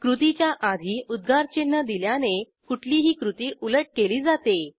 कृतीच्या आधी उद्गारचिन्ह दिल्याने कुठलीही कृती उलट केली जाते